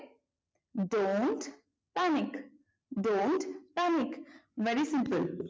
dont panic don't panic very simple